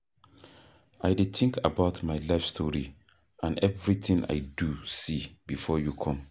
I dey think about my life story and everything I do see before you come